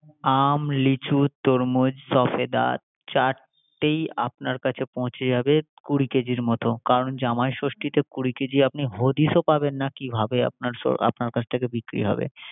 আম, লিচু, তরমুজ, ছফেদা চারটেই আপনার কাছে পৌছে যাবে কুড়ি কেজির মত। করান জামাই ষষ্ঠিতে কুড়ি কেজি আপনি হদিস ও পাবেন না কিভাবে আপনার কাছে থেকে বিক্রি হবে।